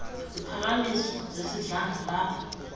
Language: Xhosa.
ziphakam iso zesidlangalala